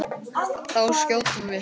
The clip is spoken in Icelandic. Þá skjótum við.